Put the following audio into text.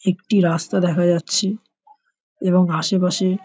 একটি রাস্তা দেখা যাচ্ছে এবং আশেপাশে --